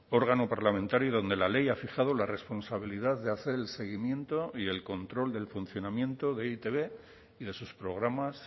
órgano parlamentario donde la ley ha fijado la responsabilidad de hacer el seguimiento y el control del funcionamiento de e i te be y de sus programas